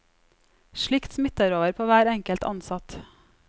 Slikt smitter over på hver enkelt ansatt.